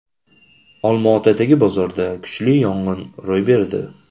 Olmaotadagi bozorda kuchli yong‘in ro‘y berdi.